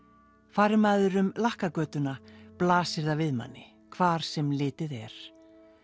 fari maður um blasir það við manni hvar sem litið er